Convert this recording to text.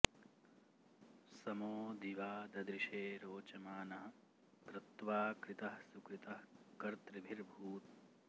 स॒मो दि॒वा द॑दृशे॒ रोच॑मानः॒ क्रत्वा॑ कृ॒तः सुकृ॑तः क॒र्तृभि॑र्भूत्